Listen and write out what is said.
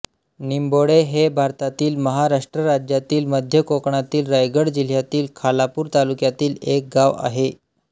निंबोडे हे भारतातील महाराष्ट्र राज्यातील मध्य कोकणातील रायगड जिल्ह्यातील खालापूर तालुक्यातील एक गाव आहे